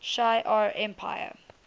shi ar empire